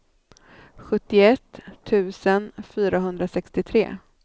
sjuttioett tusen fyrahundrasextiotre